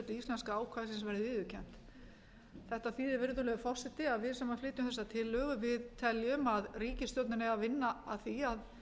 íslenska ákvæðisins verði viðurkennt þetta þýðir virðulegur forseti að við sem flytjum þessa tillögu teljum að ríkisstjórnin eigi að vinna að því að